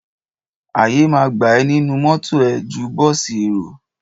Àyè ma gbà ẹ nínú mọ́tọ̀ ẹ ju bọ́ọ̀sì èrò.